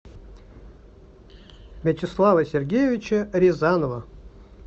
вячеслава сергеевича рязанова